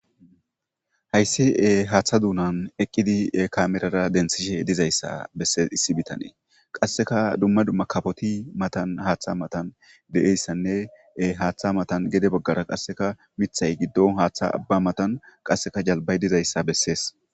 Hayssi haaththa duunan eqqidi kamerara densishe dizayssa besseissi bitanee qasseka dumma dumma kafoti matan haaththa matan de'eyssanne haaththa matan gede baggara qasseka mithay giddon haaththa abba matan qasseka jalbay dizayssa bessees.